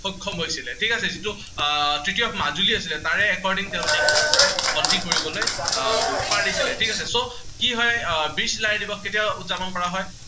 সক্ষম হৈছিলে, ঠিক আছে। যিটো আহ তেতিয়া আছিলে। তাৰে according তেওঁলোকে কি কৰিছিলে সন্ধি কৰিবলৈ আহ পাৰিছিলে। ঠিক আছে। so কি হয়, আহ বীৰ চিলাৰায় দিৱস কেতিয়া উদযাপন কৰা হয়?